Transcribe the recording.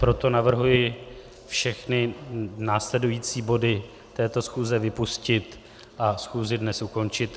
Proto navrhuji všechny následující body této schůze vypustit a schůzi dnes ukončit.